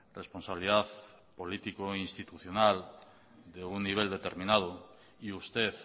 responsabilidad política e institucional de un nivel determinado y usted